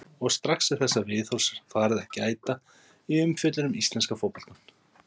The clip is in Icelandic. Og strax er þessa viðhorfs farið að gæta í umfjöllun um íslenska fótboltann.